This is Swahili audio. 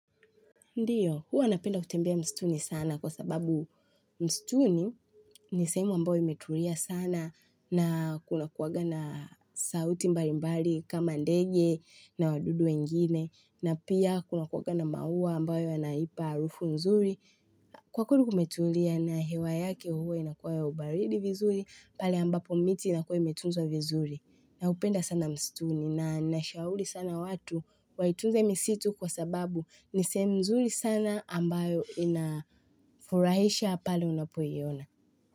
Ndiyo, huwa napenda kutembea mstuni sana kwa sababu mstuni ni sehemu ambayo imeturia sana na kunakuwaga na sauti mbalimbali kama ndege na wadudu wengine na pia kunakuwaga na maua ambayo yanaipa harufu nzuri. Kwa kweri kumetulia na hewa yake huwa inakuwa ya ubaridi vizuri pale ambapo miti inakuwa imetunzwa vizuri naupenda sana mstuni na nashauri sana watu waitunze misitu kwa sababu ni sehemu mzuri sana ambayo inafurahisha pale unapoiona.